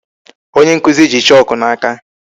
Onye nkụzi ji chalk n'aka.